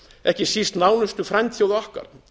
ekki síst nánustu frændþjóða okkar